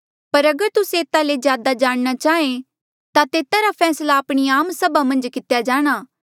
पर अगर तुस्से एता ले ज्यादा जाणना चाहें ता तेता रा फैसला आपणी आम सभा मन्झ कितेया जाणा